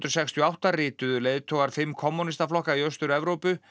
sextíu og átta rituðu leiðtogar fimm kommúnistaflokka í Austur Evrópu